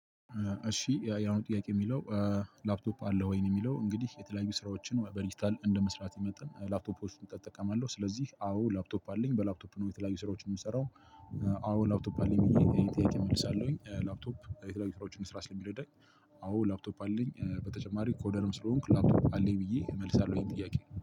እሺ ጥያቄ የሚለው ላፕቶፕ አለህ ወይ? ነው የሚለው። እንግዲህ የተለያዩ ስራዎችን ወይም በዲጂታል እንደመስራቴ መጠን ላፕቶፖችን እጠቀማለሁ። ስለዚህ አዎ ላፕቶፕ አለኝ። በላፕቶፕ ነው የተለያዩ ስራዎችን የምሰራው። አዎ ላፕቶፕ አለኝ የሚለውን ጥያቄ እመልሳለሁኝ። ላፕቶፕ የተለያዩ ስራዎችን ለመስራት ስለሚረዳኝ አዎ ላፕቶፕ አለኝ። በተጨማሪ ኮደርም ስለሆንኩ ላፕቶፕ አለኝ ብዬ እመልሳለሁኝ። ጥያቄ